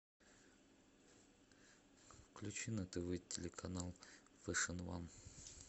включи на тв телеканал фэшн ван